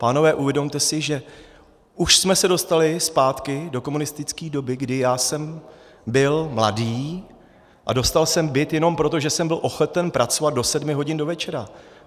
Pánové, uvědomte si, že už jsme se dostali zpátky do komunistické doby, kdy já jsem byl mladý a dostal jsem byt jenom proto, že jsem byl ochoten pracovat do sedmi hodin do večera.